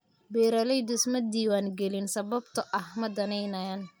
Beeraleydu isma diiwaangelin sababtoo ah ma danaynayaan.